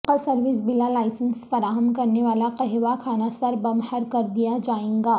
حقہ service بلا licence فراہم کرنے والا قہوہ خانہ سربمہر کردیا جائے گا